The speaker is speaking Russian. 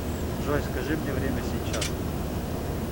джой скажи мне время сейчас